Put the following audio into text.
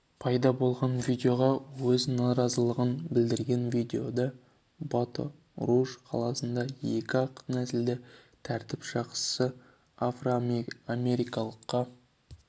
пайда болған видеоға өз наразылығын білдірген видеода бато-руж қаласында екі ақ нәсілді тәртіп сақшысы афроамерикалыққа